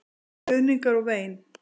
Skruðningar og vein.